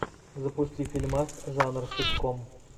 запусти фильмас жанр ситком